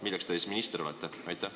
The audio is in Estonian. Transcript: Milleks te siis minister olete?